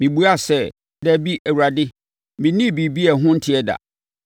“Mebuaa sɛ, ‘Dabi, Awurade! Mennii biribiara a ɛho nteɛ da.’